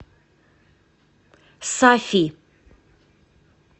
сафи